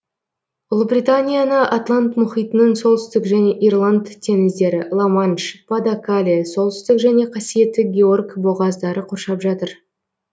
ұлыбританияны атлант мұхитының солтүстік және ирланд теңіздері ла манш па де кале солтүстік және қасиетті георг бұғаздары қоршап жатыр